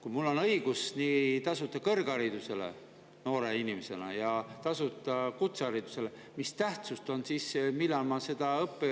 Kui mul on noore inimesena õigus nii tasuta kõrgharidusele kui ka tasuta kutseharidusele, mis tähtsust siis sellel on, millal ma õpin.